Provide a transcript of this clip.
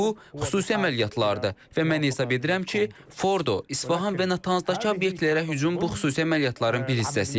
Bu xüsusi əməliyyatlardır və mən hesab edirəm ki, Fordo, İsfahan və Natanztakı obyektlərə hücum bu xüsusi əməliyyatların bir hissəsi idi.